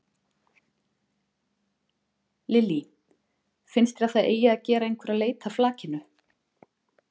Lillý: Finnst þér að það eigi að gera einhverja leit að flakinu?